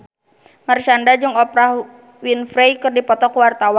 Marshanda jeung Oprah Winfrey keur dipoto ku wartawan